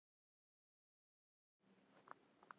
Svo er alltaf ákveðinn möguleiki á því að hér sé um gabb að ræða.